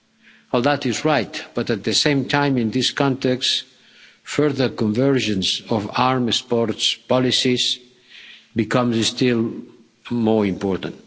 All that is right, but, at the same time, in this context, further convergence of arms export policies becomes still more important.